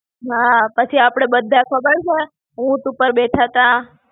હાં, પછી આપડે બધા ખબર છે, ઊંટ ઉપર બેઠા હતા.